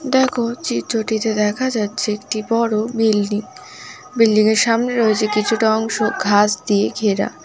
দেখো চিত্রটিতে দেখা যাচ্ছে একটি বড় বিল্ডিং বিল্ডিং এর সামনে রয়েছে কিছুটা অংশ ঘাস দিয়ে ঘেরা।